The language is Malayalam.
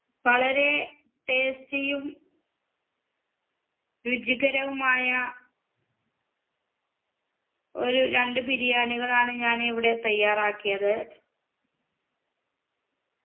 വളരെ tasty യും രുചികരവുമായ ഒരു രണ്ട് ബിരിയാണികളാണ് ഞാൻ ഇവിടെ തയ്യാറാക്കിയത്